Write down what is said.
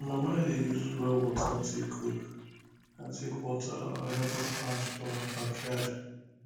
my mama dey use well water take cook and take water her herbal plants for her backyard